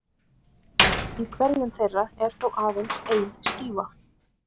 Í hverjum þeirra er þó aðeins ein skífa.